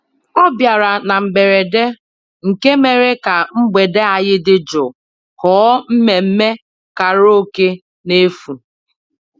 ọ bịara na mberede nke mere ka mgbede anyị dị jụụ ghọọ mmemmé karaoke n'efu